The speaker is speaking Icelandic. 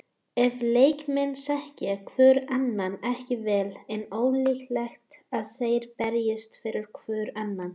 Ef leikmenn þekkja hvorn annan ekki vel er ólíklegt að þeir berjist fyrir hvorn annan.